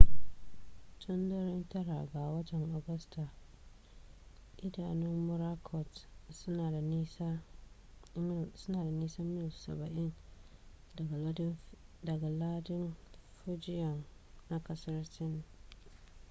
tun daren 9 ga watan agusta idanun morakot suna da nisan mil saba'in daga lardin fujian na kasar sin